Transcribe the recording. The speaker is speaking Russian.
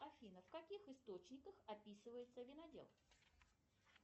афина в каких источниках описывается винодел